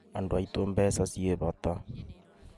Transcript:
Andũ aitũ mbeca ciĩ bata